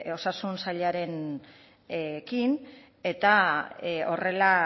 osasun sailarekin eta horrela